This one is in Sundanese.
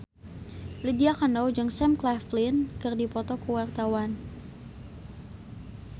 Lydia Kandou jeung Sam Claflin keur dipoto ku wartawan